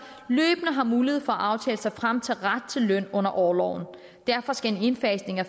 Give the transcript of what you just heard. løbende har mulighed for at aftale sig frem til ret til løn under orloven derfor skal en indfasning af